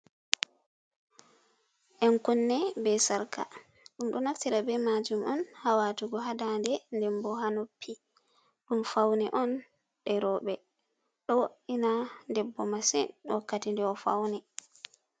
Yan-kunne be Sarka: Ɗum do naftira be majum on ha watugo ha daande, Nden bo ha noppi. Ɗum faune on e'roɓe. Ɗo wo'ina debbo masin wakkati nde o fauni.